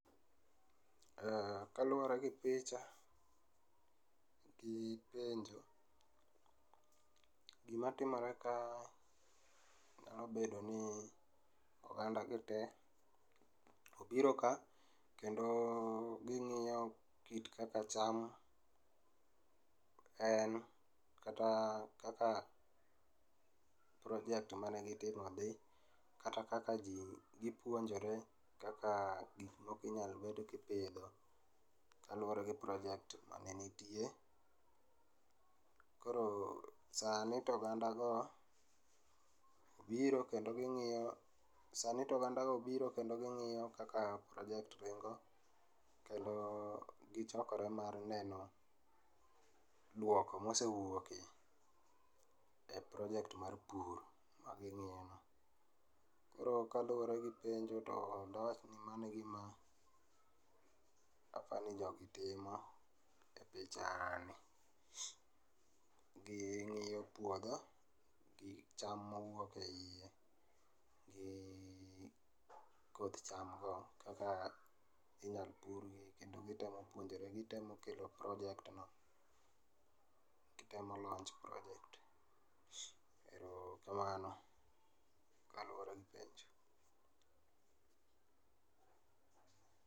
Kaluore gi picha gi penjo, gima timore ka nyalo bedo ni oganda gi tee obiro ka kendo ging'iyo kit kaka cham en kata kaka project mane gitimo dhi kata kaka jii gipuonjore kaka gik moko inyal bed ipidho kaluore gi cs]project mane nitie. Koro sani to oganda go biro kendo gingiyo, sani to oganda go biro kendo gingiyo kaka cs]project ringo kendo gichokore mar neno duoko mosewuoke e cs]project mar pur mangiyini. Koro kaluore gi penjo to dawach ni mano e gima apani jogi timo e pichani. Gingiyo puodho, gi cham mowuok e iye gi koth cham go kaka inyal purgi kendo gitemo puonjore, gitemo kelo cs]project no, gitemo launch project no, kamano kaluore gi penjo